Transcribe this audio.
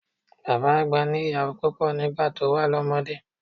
Bàbá àgbà ní ìyàwó púpọ̀ nígbà tó wà lọ́mọdé.